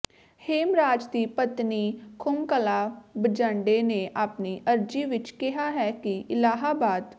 ਹੇਮਰਾਜ ਦੀ ਪਤਨੀ ਖੁਮਕਲਾ ਬੰਜਾਡੇ ਨੇ ਆਪਣੀ ਅਰਜ਼ੀ ਵਿਚ ਕਿਹਾ ਹੈ ਕਿ ਇਲਾਹਾਬਾਦ